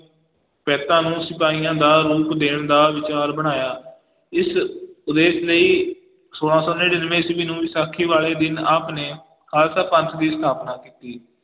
ਨੂੰ ਸਿਪਾਹੀਆਂ ਦਾ ਰੂਪ ਦੇਣ ਦਾ ਵਿਚਾਰ ਬਣਾਇਆ, ਇਸ ਉਦੇਸ਼ ਲਈ ਸੋਲਾ ਸੌ ਨੜ੍ਹਿਨਵੇਂ ਈਸਵੀ ਨੂੰ ਵਿਸਾਖੀ ਵਾਲੇ ਦਿਨ ਆਪ ਨੇ ਖਾਲਸਾ ਪੰਥ ਦੀ ਸਥਾਪਨਾ ਕੀਤੀ